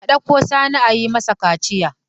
A ɗauko Sani a yi masa kaciya.